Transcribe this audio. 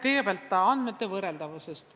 Kõigepealt andmete võrreldavusest.